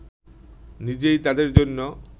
নিজেই তাদের জন্য